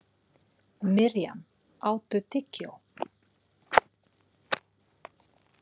Miriam, áttu tyggjó?